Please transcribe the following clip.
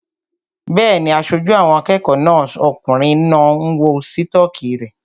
Bẹ́ẹ̀ni, aṣojú àwọn akẹ́kọ̀ọ́ náà okùnrin náà ń wọ sítọ́kì rẹ̀